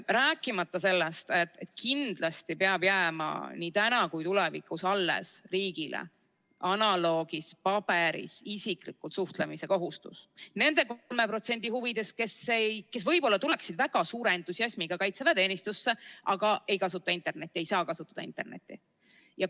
Rääkimata sellest, et kindlasti peab jääma nii täna kui ka tulevikus riigil alles analoogversioonis, paberil isiklikult suhtlemise kohustus selle 10% huvides, kes võib-olla tuleks väga suure entusiasmiga kaitseväeteenistusse, aga ta ei kasuta internetti, ta ei saa kasutada internetti.